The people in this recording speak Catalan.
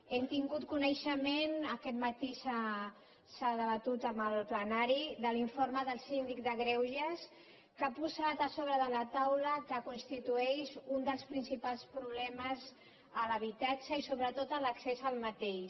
hem tingut coneixement aquest matí s’ha debatut en el plenari de l’informe del síndic de greuges que ha posat a sobre de la taula que constitueix un dels principals problemes l’habitatge i sobretot l’accés al mateix